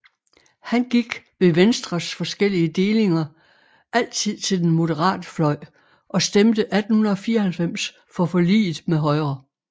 Han gik ved Venstres forskellige delinger altid til den moderate fløj og stemte 1894 for forliget med Højre